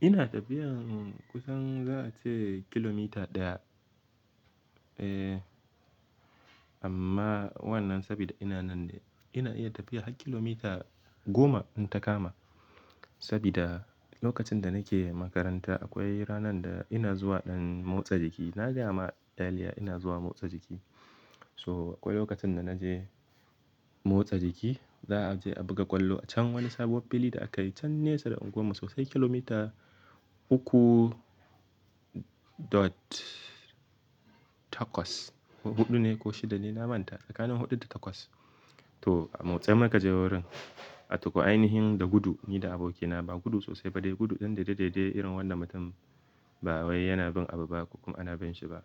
Ina tafiyan kusan za a ce kilomita daya amma wannan sabida ina nan ne, ina iya tafiya har kilomita goma in takama. Sabida lokacin da nake makaranta akwai ranar da ina zuwa ɗan motsa jiki. Na gaya ma earlier ina zuwa motsa jiki. So akwai lokacin da na je motsa jiki za a je a buga ƙwallo a can wani sabuwar fili da aka yi can nesa da unguwar mu sosai kilomita uku dot takwas. Huɗu ne ko shida ne, na manta tsakanin huɗu da takwas. To a motsa muka je wurin ataho ainihin da gudu ni da abokina ba gudu sosai ba dai gudu ɗan daidai daidai irin wanda mutum ba wai yana bin abu ba ko kuma ana bin shi ba.